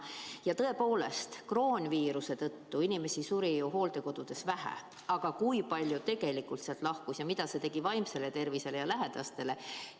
Ja tõepoolest, kroonviiruse tõttu suri ju hooldekodudes vähe inimesi, aga kui palju tegelikult sealt lahkus ning mida see tegi vaimsele tervisele ja lähedastele?